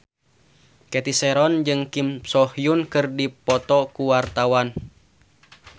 Cathy Sharon jeung Kim So Hyun keur dipoto ku wartawan